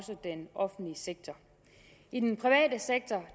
den offentlige sektor i den private sektor